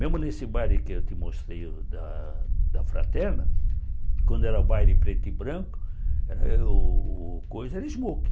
Mesmo nesse baile que eu te mostrei da da fraterna, quando era o baile preto e branco, eh o o coiso era smokin